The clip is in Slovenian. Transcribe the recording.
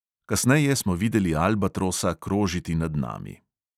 Kasneje smo videli albatrosa krožiti nad nami.